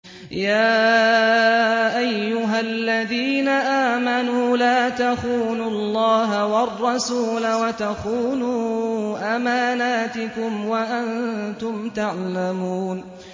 يَا أَيُّهَا الَّذِينَ آمَنُوا لَا تَخُونُوا اللَّهَ وَالرَّسُولَ وَتَخُونُوا أَمَانَاتِكُمْ وَأَنتُمْ تَعْلَمُونَ